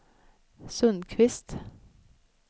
Sundqvist